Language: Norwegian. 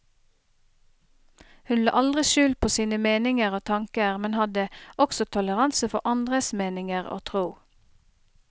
Hun la aldri skjul på sine meninger og tanker, men hadde også toleranse for andres meninger og tro.